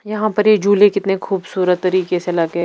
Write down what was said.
यहां पर ये झूले कितने खूबसूरत तरीके से लगे--